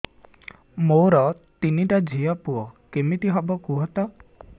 ମୋର ତିନିଟା ଝିଅ ପୁଅ କେମିତି ହବ କୁହତ